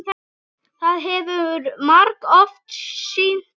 Það hefur margoft sýnt sig.